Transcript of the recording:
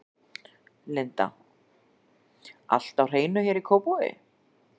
Linda: Allt á hreinu hér í Kópavogi?